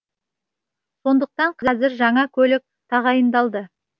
сондықтан қазір жаңа көлік тағайындалды